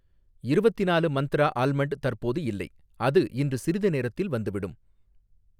இருவத்திநாலு Mantra almond தற்போது இல்லை, அது இன்று சிறிது நேரத்தில் வந்துவிடும்